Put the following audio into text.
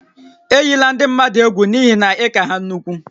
Ejila ndị mmadụ egwu n'ihi na ị ka ha nnukwu